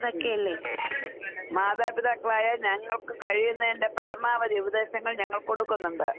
ഉം. മാതാപിതാക്കളായ ഞങ്ങൾക്ക് കഴിയുന്നതിന്റെ പരമാവധി ഉപദേശങ്ങൾ ഞങ്ങൾ കൊടുക്കുന്നുണ്ട്.